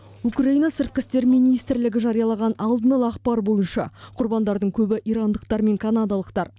украина сыртқы істер министрлігі жариялаған алдын ала ақпар бойынша құрбандардың көбі ирандықтар мен канадалықтар